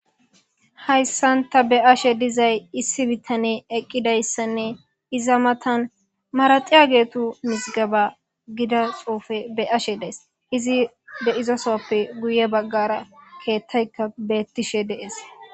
Hayssan ta be7ashe dizay issi bitane eqqidayssanne iza matan maraxiya geetu misgaba gida xoufe be ashe dees izi deizosoppe guye baggara keettayka beettishe dees.